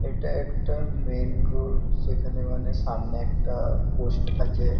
এটা একটা main road যেখানে মানে সামনে একটা পোস্ট আছে।